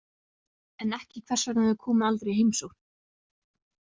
En ekki hvers vegna þau komu aldrei í heimsókn.